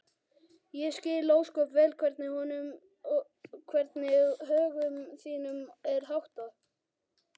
Ég skil ósköp vel hvernig högum þínum er háttað.